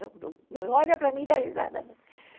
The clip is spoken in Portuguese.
Não olha para mim e dá risada não.